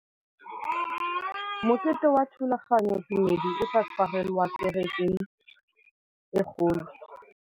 Mokete wa thulaganyôtumêdi o tla tshwarelwa kwa kerekeng e kgolo.